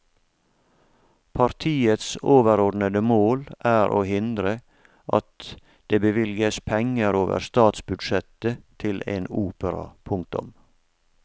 Partiets overordnede mål er å hindre at det bevilges penger over statsbudsjettet til en opera. punktum